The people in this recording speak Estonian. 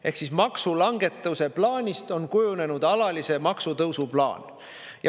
Ehk maksulangetuse plaanist on kujunenud alalise maksutõusu plaan.